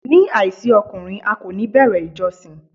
Ní àìsí ọkùnrin, a kò ní bẹ̀rẹ̀ ìjọsìn.